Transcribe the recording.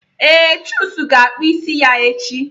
Ee, Chuks ga-akpụ isi ya echi